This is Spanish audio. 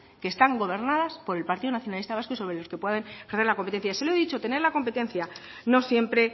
que están gobernadas por el partido nacionalista vasco y sobre los que puedan ejercer la competencia se lo he dicho tener la competencia no siempre